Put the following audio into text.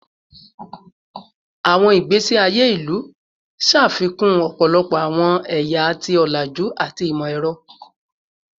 Awọn igbesi aye ilu ṣafikun ọpọlọpọ awọn ẹya ti olaju ati imọ-ẹrọ